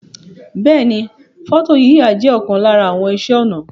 Beeni, foto yiya je okan lara àwon ise onà